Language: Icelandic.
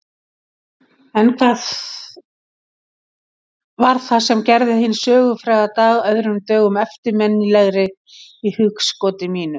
En hvað var það sem gerði hinn sögufræga dag öðrum dögum eftirminnilegri í hugskoti mínu?